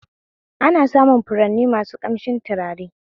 Ana samun furanni masu ƙamshin tutare